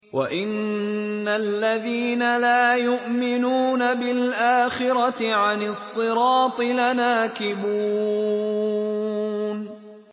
وَإِنَّ الَّذِينَ لَا يُؤْمِنُونَ بِالْآخِرَةِ عَنِ الصِّرَاطِ لَنَاكِبُونَ